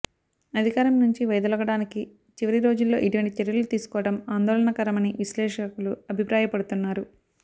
అధికారం నుంచి వైదొలగడానికి చివరి రోజుల్లో ఇటువంటి చర్యలు తీసుకోవడం ఆందోళనకరమని విశ్లేషకులు అభిప్రాయపడుతున్నారు